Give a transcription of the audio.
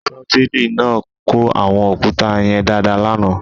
Ṣọ́bìrì náà kó àwọn òkúta yẹn dáadáa lánàá.